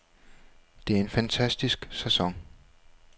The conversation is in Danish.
Det er en fantastisk sæson.